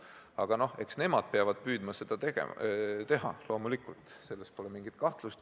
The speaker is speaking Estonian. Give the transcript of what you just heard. Aga nad peavad püüdma seda teha – loomulikult, selles pole mingit kahtlust.